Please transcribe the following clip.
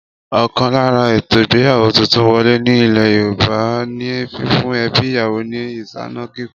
Ọkan lára ètò ìgbéyàwó tuntun wọlé ní ilé Yorùbá ní fífún ẹbí ìyàwó ni ìsáná kíkún